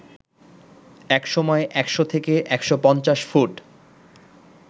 একসময় ১০০ থেকে ১৫০ ফুট